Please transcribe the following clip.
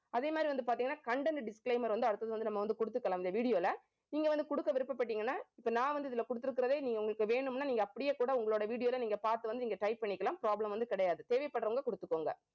அதே மாதிரி வந்து பாத்தீங்கன்னா content disclaimer வந்து அடுத்தது வந்து நம்ம வந்து குடுத்துக்கலாம் இந்த video ல நீங்க வந்து குடுக்க விருப்பப்பட்டீங்கன்னா இப்ப நான் வந்து இதுல குடுத்திருக்கிறதே நீங்க உங்களுக்கு வேணும்னா நீங்க அப்படியே கூட உங்களோட video ல நீங்க பாத்து வந்து நீங்க type பண்ணிக்கலாம். problem வந்து கிடையாது. தேவைப்படறவங்க குடுத்துக்கோங்க